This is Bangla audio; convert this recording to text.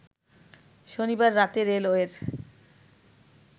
শনিবার রাতে রেলওয়ের